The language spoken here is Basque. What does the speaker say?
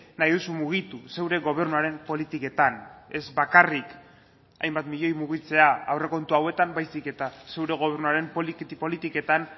nahi duzu mugitu zure gobernuaren politiketan ez bakarrik hainbat milioi mugitzea aurrekontu hauetan baizik eta zure gobernuaren politiketan